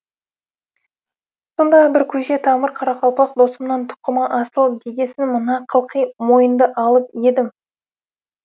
сондағы бір көже тамыр қарақалпақ досымнан тұқымы асыл дегесін мына қылқи мойынды алып едім